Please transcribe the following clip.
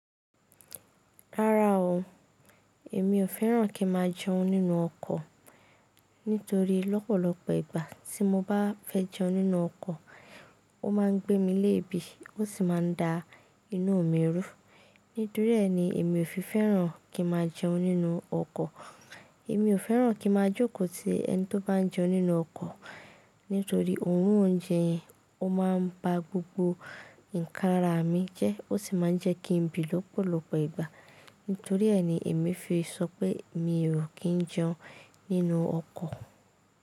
Rárá o, èmi ò fẹ́ràn kí n máa jẹun nínú ọkọ̀ nítorí lọ́pọ̀lọpọ̀ ìgbà tí mo bá fẹ́ jẹun nínú ọkọ̀, ó máa ń gbé mi léèébì ó sì máa ń da inú mi rú. Nítorí rẹ̀ ni èmi ò fi fẹ́ràn kí n máa jẹun nínú ọkọ̀. Èmi ò fẹ́ràn kí n máa jókòó ti ẹni tó bá ń jẹun nínú ọkọ̀ nítorí òórùn oúnjẹ yẹn ó máa ń ba gbogbo nǹkan ara mi jẹ́ ó sì máa ń jẹ́ kí n bì lọ́pọ̀lọpọ̀ ìgbà. Nítorí ẹ̀ ni èmi fi sọ pé mi ò kí ń jẹun nínú ọkọ̀.